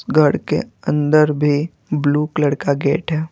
घर के अंदर भी ब्लू कलर का गेट है।